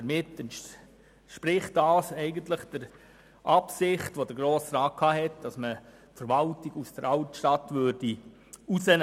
Damit entspricht dies eigentlich der vom Grossen Rat geäusserten Absicht, die Verwaltung aus der Altstadt herauszunehmen.